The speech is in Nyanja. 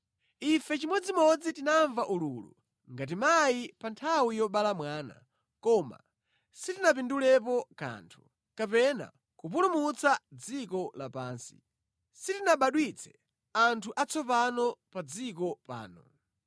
Ife chimodzimodzi tinamva ululu, ngati mayi pa nthawi yobala mwana, koma sitinapindulepo kanthu, kapena kupulumutsa dziko lapansi; sitinabadwitse anthu atsopano pa dziko pano.